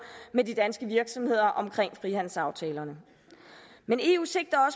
med de danske virksomheder om frihandelsaftalerne men eu sigter